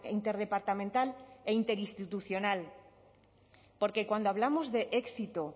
interdepartamental e interinstitucional porque cuando hablamos de éxito